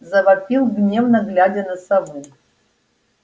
завопил гневно глядя на сову